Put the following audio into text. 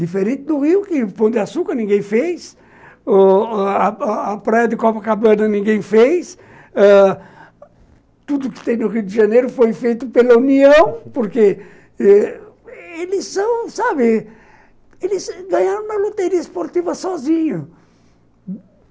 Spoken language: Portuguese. Diferente do Rio, que Pão de Açúcar ninguém fez, ô ô a a Praia de Copacabana ninguém fez, tudo que tem no Rio de Janeiro foi feito pela União, porque eles são, sabe, eles ganharam uma loteria esportiva sozinhos.